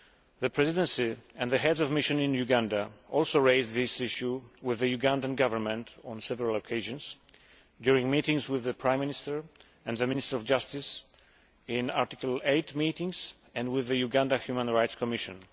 The Presidency and the Heads of Mission in Uganda also raised this issue with the Ugandan Government on several occasions, during meetings with the Prime Minister and the Minister of Justice, in Article 8 meetings, and with the Uganda Human Rights Commission.